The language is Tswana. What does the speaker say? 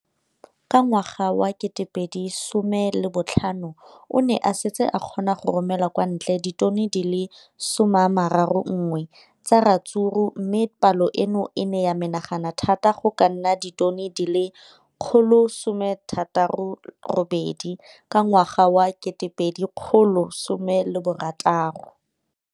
Ka ngwaga wa 2015, o ne a setse a kgona go romela kwa ntle ditone di le 31 tsa ratsuru mme palo eno e ne ya menagana thata go ka nna ditone di le 168 ka ngwaga wa 2016.